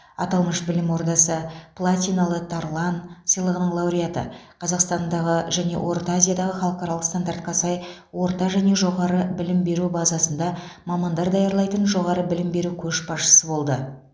аталмыш білім ордасы платиналы тарлан сыйлығының лауреаты қазақстандағы және орта азиядағы халықаралық стандартқа сай орта және жоғары білім беру базасында мамандар даярлайтын жоғары білім беру көшбасшысы болды